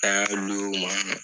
an y'a u ma.